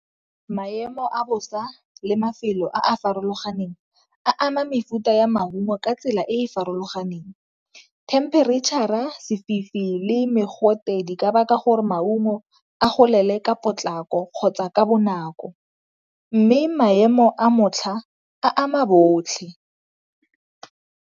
Maemo a bosa le mafelo a a farologaneng a ama mefuta ya maungo ka tsela e e farologaneng themperetšhara, sefifi, le mogote di ka baka gore maungo a golele ka potlako kgotsa ka bonako, mme maemo a a ama botlhe.